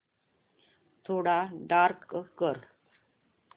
थोडा डार्क कर